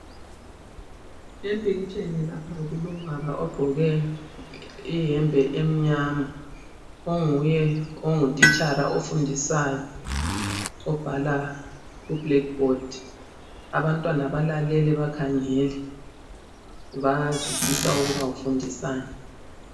Empikitsheni lapha kulobaba ogqoke iyembe emnyama onguye ongutitshala ofundisayo obhala ku-blackboard abantwana balalele bakhangele, bayazwisisa ukuba ufundisani.